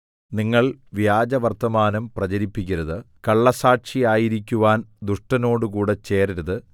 നിങ്ങൾ വ്യാജവർത്തമാനം പ്രചരിപ്പിക്കരുത് കള്ളസ്സാക്ഷിയായിരിക്കുവാൻ ദുഷ്ടനോടുകൂടെ ചേരരുത്